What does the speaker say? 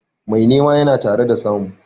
Mai nema yana tare da samu.